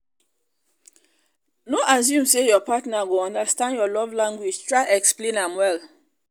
no assume say your partner go understand your love language try explain am well